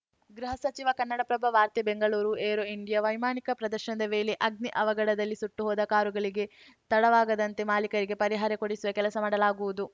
ಗೃಹ ಸಚಿವ ಕನ್ನಡಪ್ರಭ ವಾರ್ತೆ ಬೆಂಗಳೂರು ಏರೋ ಇಂಡಿಯಾ ವೈಮಾನಿಕ ಪ್ರದರ್ಶನದ ವೇಳೆ ಅಗ್ನಿ ಅವಘಡದಲ್ಲಿ ಸುಟ್ಟು ಹೋದ ಕಾರುಗಳಿಗೆ ತಡವಾಗದಂತೆ ಮಾಲೀಕರಿಗೆ ಪರಿಹಾರ ಕೊಡಿಸುವ ಕೆಲಸ ಮಾಡಲಾಗುವುದು